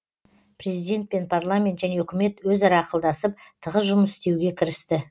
президент пен парламент және үкімет өзара ақылдасып тығыз жұмыс істеуге кірісті